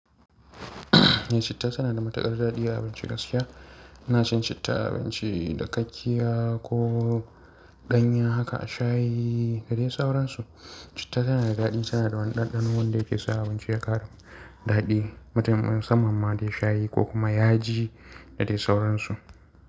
Eh, citta suna da matuƙar daɗi a abinci gaskiya. Ina shan citta a abinci dakakiya ko ɗanya haka a shayi da dai sauransu. Citta tana da daɗi, suna da wani ɗanɗano wanda yake sa abinci ya ƙaru daɗi. Mutane musamman ma dai shayi ko kuma yaji da dai sauransu.